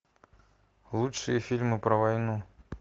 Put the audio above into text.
лучшие фильмы про войну